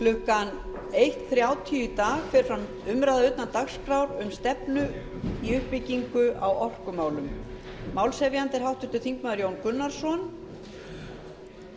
klukkan eitt þrjátíu í dag fer fram umræða utan dagskrár um stefnu í uppbyggingu á orkumálum málshefjandi er háttvirtur þingmaður jón gunnarsson